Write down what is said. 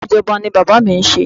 Iṣẹ́ ijoba ni bàbá mi ń ṣe.